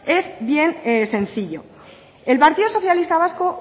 es bien sencillo el partido socialista vasco